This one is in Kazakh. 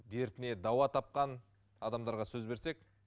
дертіне дауа тапқан адамдарға сөз берсек